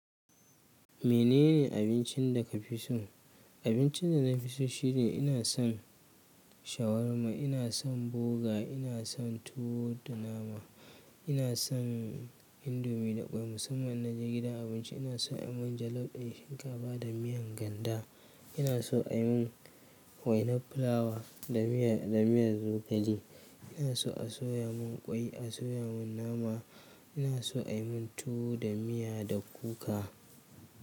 Menene abincin da ka fi so? Abincin da na fi so shine ina son shawarma, ina son boga, ina son tuwo da nama, ina son indomi da kwai musamman in na je gidan abinci ina so a yi mun jalof ɗin shinkafa da miyan ganda. Ina so a yi mun wainar fulawa da miya, da miyar zogale. Ina so a soya mun kwai, a soya mun nama, ina so a yi mun tuwo da miya da kuka.